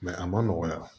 a ma nɔgɔya